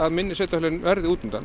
minni sveitarfélögin verði